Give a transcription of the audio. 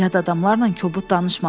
Yad adamlarla kobud danışma.